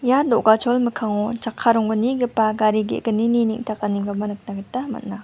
ia dogachol mikkango chakka ronggnigipa gari ge·gnini neng·takanikoba nikna gita man·a.